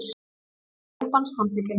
Ökumaður jeppans handtekinn